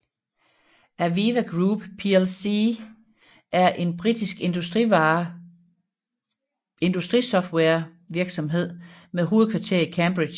AVEVA Group plc er en britisk industrisoftwarevirksomhed med hovedkvarter i Cambridge